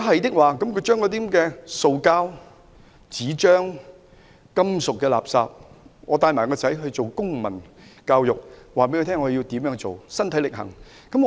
他們應該將塑膠、紙張、金屬垃圾分類，並身體力行，教導子女如何將垃圾分類。